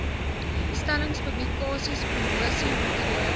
stellings publikasies promosiemateriaal